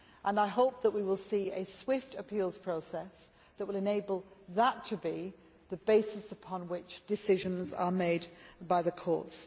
I hope that we will see a swift appeals process that will enable that to be the basis upon which decisions are made by the courts.